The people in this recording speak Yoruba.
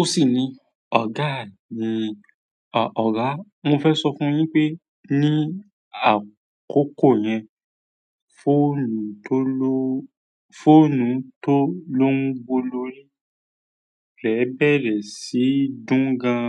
Ó sì ní, "Ọ̀gá à mi, ọ̀gá, mo fẹ́ sọ fún yín pé ní àkókò yẹn, fóònù tó ló ń wo lórí rẹ̀ bẹ̀rẹ̀ sí dún gan.